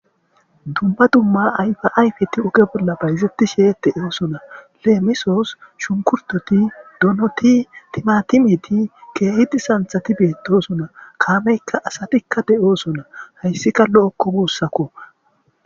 dumba dumma ayfa ayfeti uge bolla bayzetti sheete eosuna lemesoos shunkurtoti donoti timatimiti keehiti santhati beetosuna kaameykka asatikka de7oosona hayssikka lo7okko buussakko